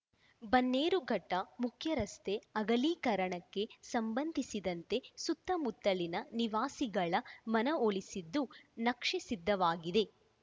ಬನ್ನೇರುಘಟ್ಟಮುಖ್ಯರಸ್ತೆ ಅಗಲೀಕರಣಕ್ಕೆ ಸಂಬಂಧಿಸಿದಂತೆ ಸುತ್ತಮುತ್ತಲಿನ ನಿವಾಸಿಗಳ ಮನವೊಲಿಸಿದ್ದು ನಕ್ಷೆ ಸಿದ್ಧವಾಗಿದೆ